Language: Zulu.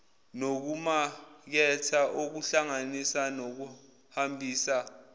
nokumaketha ukukhangisa nokuhambisa